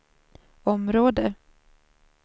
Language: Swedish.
område